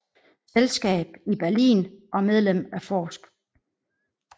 Selskab i Berlin og Medlem af forsk